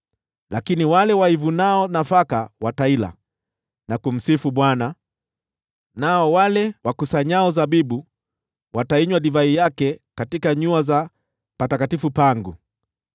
lakini wale waivunao nafaka wataila na kumsifu Bwana , nao wale wakusanyao zabibu watainywa divai yake katika nyua za patakatifu pangu.”